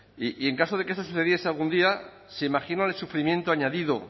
y en caso de que eso sucediese algún día se imaginan el sufrimiento añadido